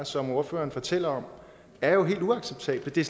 som ordføreren fortæller om er jo helt uacceptable det